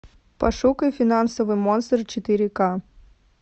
пошукай финансовый монстр четыре ка